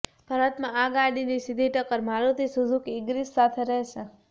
ભારતમાં આ ગાડીની સીધી ટક્કર મારુતિ સુઝુકી ઈગ્નિસ સાથે રહેશે